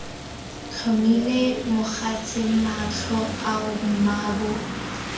tlhomile mogatse matlho ao mmaabo